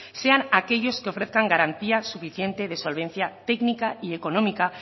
sean aquellos que ofrezcan garantía suficiente de solvencia técnica y económica